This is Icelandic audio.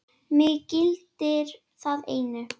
Mig gildir það einu.